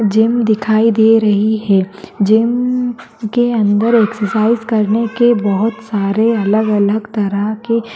gym दिखाई दे रही है जिम के अंदर एक्सर्साइज़ करने के बहुत सारे अलग-अलग तरह के--